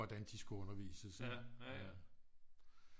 Hvordan de skulle undervises